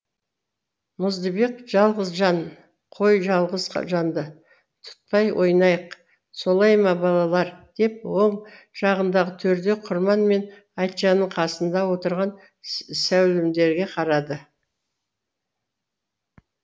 мұздыбек жалғыз жан қой жалғыз жанды тұтпай ойнайық солай ма балалар деп оң жағындағы төрде құрман мен айтжанның қасында отырған сәулімдерге қарады